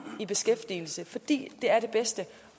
i beskæftigelse fordi det er det bedste